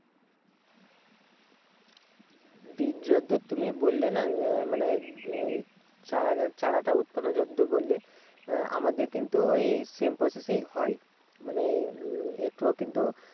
বীজ যদ্দূর তুমি বললে না এ মানে উম চারাটা উৎপাদনে যদ্দূর বললে আমাদের কিন্তু ঐ same process এই হয়। মানে উম একটুও কিন্তু